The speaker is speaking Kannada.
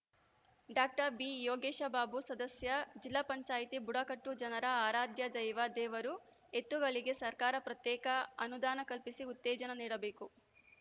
ಡಾಕ್ಟರ್ ಬಿಯೋಗೇಶ ಬಾಬು ಸದಸ್ಯ ಜಿಲ್ಲಾ ಪಂಚಾಯತಿ ಬುಡಕಟ್ಟು ಜನರ ಆರಾಧ್ಯ ದೈವ ದೇವರು ಎತ್ತುಗಳಿಗೆ ಸರ್ಕಾರ ಪ್ರತ್ಯೇಕ ಅನುದಾನ ಕಲ್ಪಿಸಿ ಉತ್ತೇಜನ ನೀಡಬೇಕು